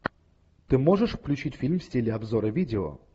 ты можешь включить фильм в стиле обзора видео